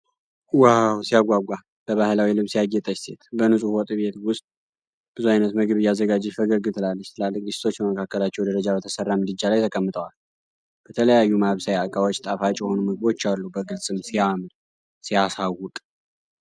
ዋው ሲያጓጓ! በባህላዊ ልብስ ያጌጠች ሴት በንፁህ ወጥ ቤት ውስጥ ብዙ ዓይነት ምግብ እያዘጋጀች ፈገግ ትላለች። ትላልቅ ድስቶች በመካከለኛ ደረጃ በተሰራ ምድጃ ላይ ተቀምጠዋል። በተለያዩ ማብሰያ ዕቃዎች ጣፋጭ የሆኑ ምግቦች አሉ፣ በግልጽም ሲያምር! ሲያሳውቅ!